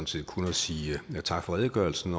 set kun at sige tak for redegørelsen